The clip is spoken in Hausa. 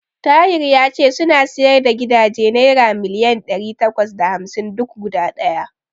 Tahir ya ce suna siyar da gidaje naira miliyan ɗari takwas da hamsin duk guda ɗaya.